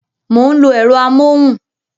Mo ń lo ẹ̀rọ amóhùn